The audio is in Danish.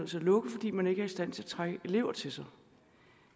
til at lukke fordi man ikke er i stand til at trække elever til sig